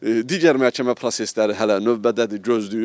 Digər məhkəmə prosesləri hələ növbədədir, gözləyir.